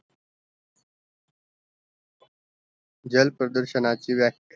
जल प्रदूषणाचा व्याक